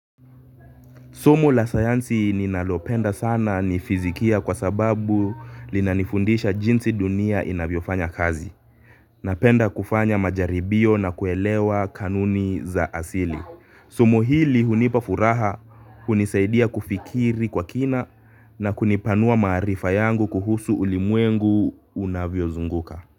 Somo la sayansi ninalopenda sana ni fizikia kwa sababu linanifundisha jinsi dunia inavyofanya kazi. Napenda kufanya majaribio na kuelewa kanuni za asili. Somo hili hunipa furaha, hunisaidia kufikiri kwa kina na kunipanua maarifa yangu kuhusu ulimwengu unavyozunguka.